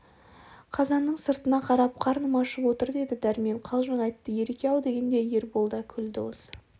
қазанның сыртына қарап қарным ашып отыр деді дармен қалжың айтты ереке-ау дегенде ербол да күлді осы